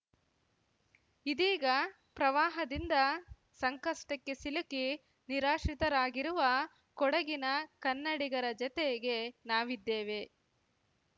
ಇದೀಗ ಪ್ರವಾಹದಿಂದ ಸಂಕಷ್ಟಕ್ಕೆ ಸಿಲುಕಿ ನಿರಾಶ್ರಿತರಾಗಿರುವ ಕೊಡಗಿನ ಕನ್ನಡಿಗರ ಜತೆಗೆ ನಾವಿದ್ದೇವೆ